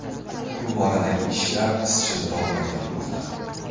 Bu boradagi ishlar izchil davom ettirilmoqda.